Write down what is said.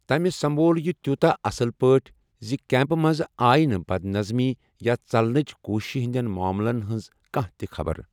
تٔمہِ سمبول یہِ تیٛوٗتاہ اَصٕل پٲٹھۍ زِ کیٚمپہٕ منٛز آیہِ نہٕ بد نظمی یا ژلنہٕچہِ کوٗشِشہِ ہِنٛدٮ۪ن معاملن ہِنٛز کانٛہہ تہِ خبر۔